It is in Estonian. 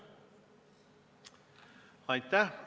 Aitäh!